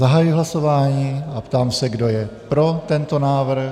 Zahajuji hlasování a ptám se, kdo je pro tento návrh.